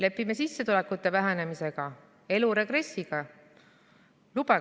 Lepime sissetulekute vähenemisega, elu regressiga?